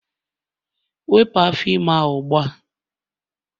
wepụ afọ ime ahụ ugbu a!